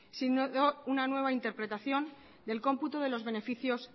sino una nueva interpretación del cómputo de los beneficios